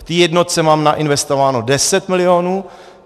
V té jednotce mám nainvestováno 10 milionů.